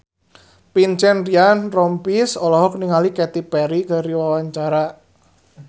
Vincent Ryan Rompies olohok ningali Katy Perry keur diwawancara